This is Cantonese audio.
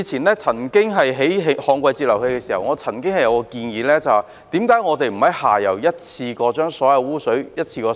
以往建造旱季截流器時，我曾經提出一項建議，就是為何不在下游一次過收集所有污水？